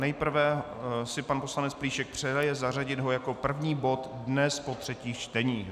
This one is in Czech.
Nejprve si pan poslanec Plíšek přeje zařadit ho jako první bod dnes po třetích čteních.